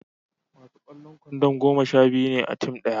masu kwallon kwandon goma sha biyu ne a tim daya